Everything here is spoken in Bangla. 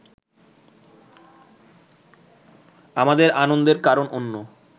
আমাদের আনন্দের কারণ অন্য